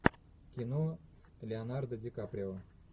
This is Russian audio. кино с леонардо ди каприо